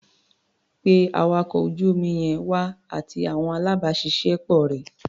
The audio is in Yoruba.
Pé awakọ̀ ojú omi yẹn wá, àti àwọn alábàáṣiṣẹ́ pọ̀ rẹ̀.